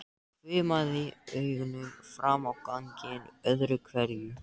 Hvimaði augunum fram á ganginn öðru hverju.